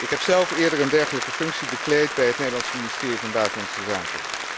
Ik heb zelf eerder een dergelijke functie bekleed bij het Nederlandse Ministerie van Buitenlandse Zaken.